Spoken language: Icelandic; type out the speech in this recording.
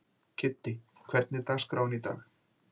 Kiddi, hvernig er dagskráin í dag?